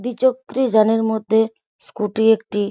দ্বিচক্রি যানের মধ্যে স্কুটি একটি-